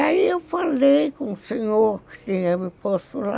Aí eu falei com o senhor que tinha me posto lá,